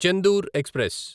Chendur express